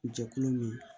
Jɛkulu min